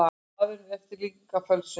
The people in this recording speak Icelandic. Maðurinn er eftirlíking af fölsun.